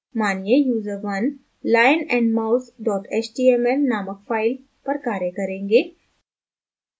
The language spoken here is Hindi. मानिए user1 lionandmouse html named file पर कार्य करेंगे